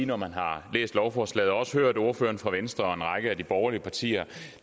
når man har læst lovforslaget og også hørt ordførerne fra venstre og en række af de borgerlige partier